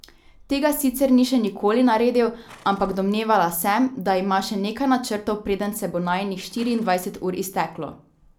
Tega sicer ni še nikoli naredil, ampak domnevala sem, da ima še nekaj načrtov, preden se bo najinih štiriindvajset ur izteklo.